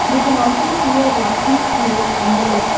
We can also see a rocky slope on the left.